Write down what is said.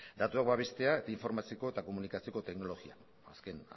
datuak babestea informazioko eta komunikazioko teknologia azken